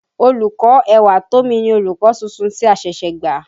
Olùkọ́ Ẹwàtómi ni olùkọ́ tuntun tí a ṣẹ̀ṣẹ̀ gbà.